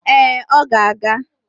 Ee, ọ ga-aga